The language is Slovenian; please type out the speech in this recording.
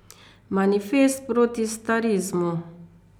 Manifest proti starizmu.